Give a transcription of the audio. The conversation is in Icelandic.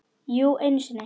Jú, einu sinni.